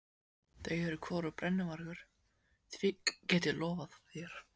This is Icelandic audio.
Þau eru hvorugt brennuvargur, því get ég lofað þér.